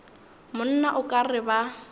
monna o ka re ba